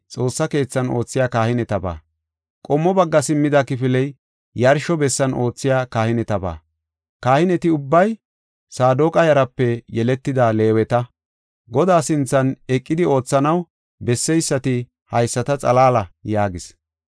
Qommo bagga simmida kifiley yarsho bessan oothiya kahinetaba. Kahineti ubbay Saadoqa yaraape yeletida Leeweta; Godaa sinthan eqidi oothanaw besseysati haysata xalaala” yaagis.